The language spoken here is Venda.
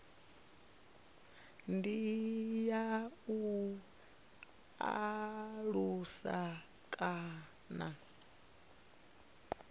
ndi ya u alusa kana